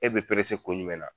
E bɛ perese kun jumɛnna?